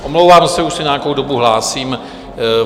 Omlouvám se, už se nějakou dobu hlásím.